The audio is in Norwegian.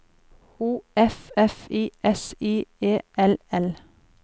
O F F I S I E L L